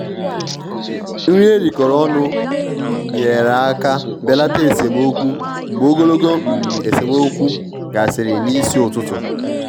nri erikọrọ ọnụ nyere aka belata esemokwu mgbe ogologo um esemokwu gasịrị n'isi ụtụtụ.